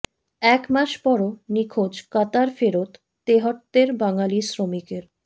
এক মাস পরও নিখোঁজ কাতার ফেরত তেহট্টের বাঙালি শ্রমিকের